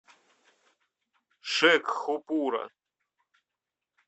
шекхупура